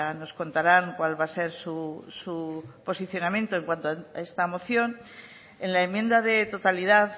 nos contarán cuál va a ser su posicionamiento en cuanto a esta moción en la enmienda de totalidad